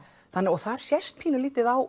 og það sést pínulítið á